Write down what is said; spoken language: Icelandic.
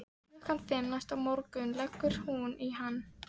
Klukkan fimm næsta morgun leggur hún í hann.